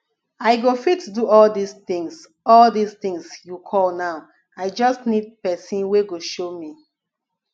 i go fit do all dis things all dis things you call now i just need person wey go show me